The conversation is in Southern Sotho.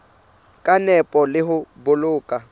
ka nepo le ho boloka